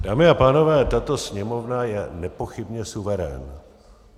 Dámy a pánové, tato Sněmovna je nepochybně suverén.